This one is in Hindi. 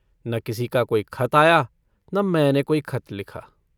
न किसी का कोई खत आया न मैंने कोई खत लिखा।